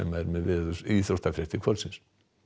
er með íþróttafréttir kvöldsins